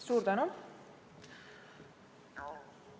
Suur tänu!